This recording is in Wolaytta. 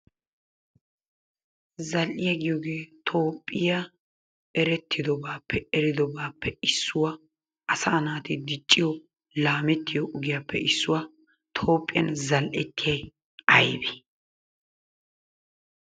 Zal"iya giyogee Toophphiya erettidobaappe, eridobaappe issuwa, asaa naati dicciyo laamettiyo ogiyappe issuwa Toophphiyan zal"ettiyay aybee?